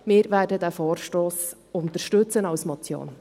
Wir werden den Vorstoss unterstützen als Motion.